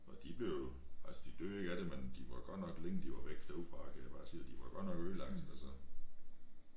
Og de blev altså de døde ikke af det men de var godt nok længe de var væk derudefra kan jeg bare sige dig de var godt nok ødelagte altså